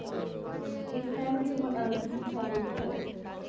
এছাড়াও কি তোমার আ তুমি কি আর কিছু বলতে চাও